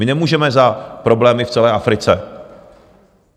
My nemůžeme za problémy v celé Africe.